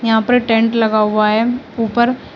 यहां पर टेंट लगा हुआ है ऊपर।